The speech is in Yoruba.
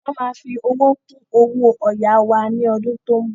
Wọn má fi owó kún owó ọ̀yà wá ní ọdún tó ń bọ̀